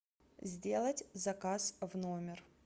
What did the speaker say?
сделать заказ в номер